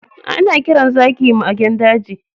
Ana kiran zaki magen daji.